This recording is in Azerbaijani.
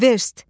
Verst.